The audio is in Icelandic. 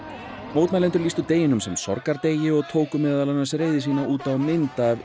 mótmælendur lýstu deginum sem sorgardegi og tóku meðal annars reiði sína út á mynd af